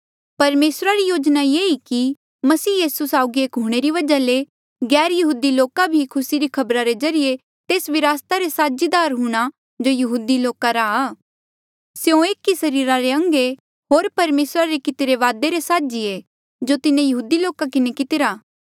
परमेसरा री योजना ये ई मसीह साउगी एक हूंणे री वजहा ले गैरयहूदी लोका भी खुसी री खबरा रे ज्रीए तेस विरासता रे साझीदार हूंणे जो यहूदी लोका रा स्यों एक ही सरीरा रे अंग ऐें होर परमेसरा रे कितिरे वादे रे साझी ऐें जो तिन्हें यहूदी लोका किन्हें कितिरा